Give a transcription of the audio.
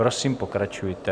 Prosím, pokračujte.